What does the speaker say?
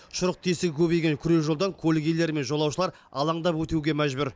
шұрық тесігі көбейген күре жолдан көлік иелері мен жолаушылар алаңдап өтуге мәжбүр